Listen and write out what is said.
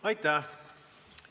Aitäh!